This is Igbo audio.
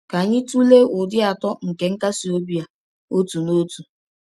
Ka anyị tụlee ụdị atọ nke nkasi obi a, otu n’otu.